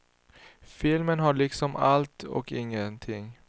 Filmen har liksom allt och ingenting.